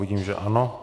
Vidím, že ano.